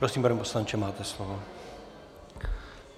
Prosím, pane poslanče, máte slovo.